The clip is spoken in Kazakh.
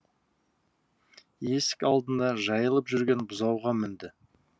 есік алдында жайылып жүрген бұзауға мінді